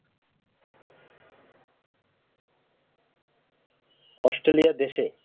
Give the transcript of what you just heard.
Australia দেশে